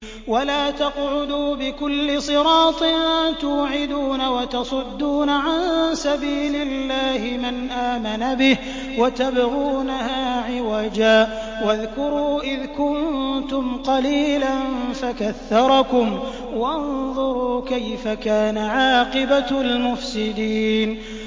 وَلَا تَقْعُدُوا بِكُلِّ صِرَاطٍ تُوعِدُونَ وَتَصُدُّونَ عَن سَبِيلِ اللَّهِ مَنْ آمَنَ بِهِ وَتَبْغُونَهَا عِوَجًا ۚ وَاذْكُرُوا إِذْ كُنتُمْ قَلِيلًا فَكَثَّرَكُمْ ۖ وَانظُرُوا كَيْفَ كَانَ عَاقِبَةُ الْمُفْسِدِينَ